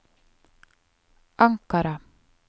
Ankara